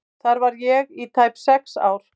Þar var ég í tæp sex ár.